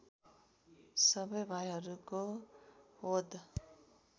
सबै भाइहरूको वध